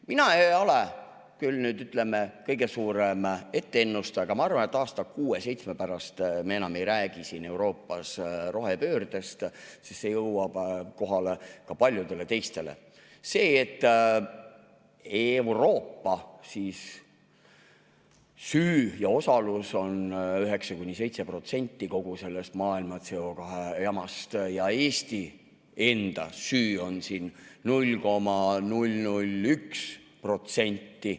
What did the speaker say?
Mina ei ole küll, ütleme, kõige suurem ennustaja, aga ma arvan, et kuue-seitsme aasta pärast me enam ei räägi siin Euroopas rohepöördest, sest jõuab kohale ka paljudele teistele see, et Euroopa süü ja osalus on 9–7% kogu maailma CO2 jamast ja Eesti enda süü on siin 0,001%.